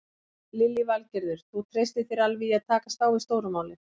Lillý Valgerður: Þú treystir þér alveg í að takast á við stóru málin?